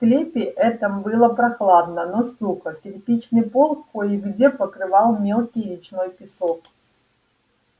в склепе этом было прохладно но сухо кирпичный пол кое где покрывал мелкий речной песок